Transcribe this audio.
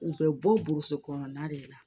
U bɛ bɔ burusi kɔnɔna de la